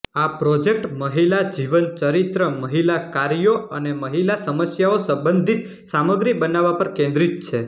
આ પ્રોજેક્ટ મહિલા જીવનચરિત્ર મહિલા કાર્યો અને મહિલા સમસ્યાઓ સંબંધિત સામગ્રી બનાવવા પર કેન્દ્રિત છે